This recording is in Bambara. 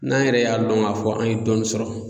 N'an yɛrɛ y'a lɔn k'a fɔ an ye dɔɔni sɔrɔ.